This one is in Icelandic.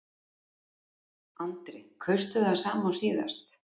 Andri: Kaustu það sama og síðast?